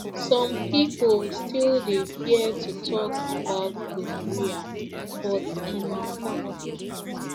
some people still dey fear to talk about gonorrhea but e matter